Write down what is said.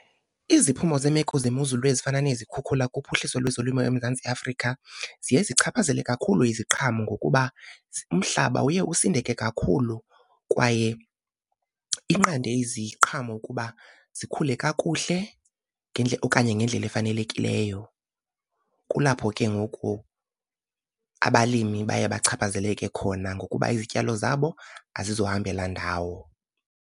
Iziphumo zeemeko zemozulu ezifana nezikhukhula kuphuhliso lwezolimo eMzantsi Afrika ziye zichaphazele kakhulu iziqhamo, ngokuba umhlaba uye usindeke kakhulu kwaye inqande iziqhamo ukuba zikhule kakuhle okanye ngendlela efanelekileyo. Kulapho ke ngoku abalimi baye bachaphazeleke khona ngokuba izityalo zabo azizohambela ndawo.